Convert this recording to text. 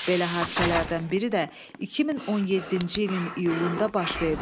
Belə hadisələrdən biri də 2017-ci ilin iyulunda baş verdi.